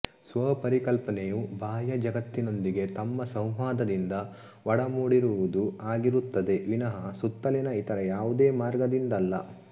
ಸ್ವಪರಿಕಲ್ಪನೆಯು ಬಾಹ್ಯ ಜಗತ್ತಿನೊಂದಿಗೆ ನಮ್ಮ ಸಂವಾದದಿಂದ ಒಡಮೂಡಿರುವುದು ಆಗಿರುತ್ತದೆ ವಿನಃ ಸುತ್ತಲಿನ ಇತರ ಯಾವುದೇ ಮಾರ್ಗದಿಂದಲ್ಲ